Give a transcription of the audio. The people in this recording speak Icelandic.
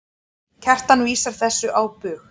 Kjartan vísar þessu á bug.